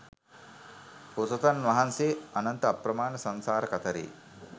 බෝසතාණන් වහන්සේ අනන්ත අප්‍රමාණ සංසාර කතරේ